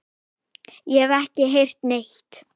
Ég hef ekki heyrt neitt.